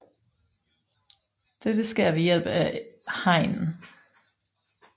Dette sker ved hjælp af hegn